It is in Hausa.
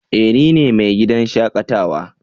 Eh! Ni ne mai gidan shakatawa.